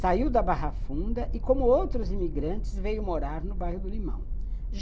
Saiu da Barra Funda e, como outros imigrantes, veio morar no bairro do Limão.